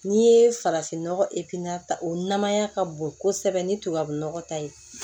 N'i ye farafin nɔgɔ ta o namaya ka bon kosɛbɛ ni tubabu nɔgɔ ta ye